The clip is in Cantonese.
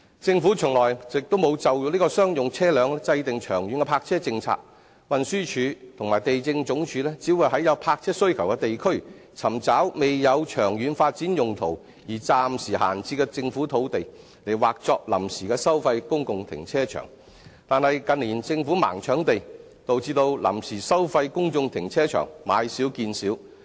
政府從來沒有就商用車輛制訂長遠的泊車政策，運輸署和地政總署只會在有泊車需求的地區，尋找未有長遠發展用途而暫時閒置的政府土地，劃作臨時收費公共停車場，但近年政府"盲搶地"，導致臨時收費公眾停車場買少見少。